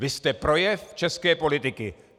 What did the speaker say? Vy jste projev české politiky.